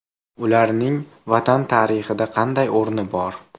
Ularning Vatan tarixida qanday o‘rni bor?